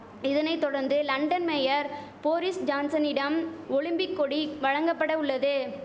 இதனை தொடர்ந்து London mayor Boris ஜான்சனிடம் ஒலிம்பிக் கொடி வழங்கபட உள்ளது